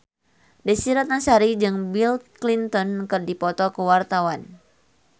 Desy Ratnasari jeung Bill Clinton keur dipoto ku wartawan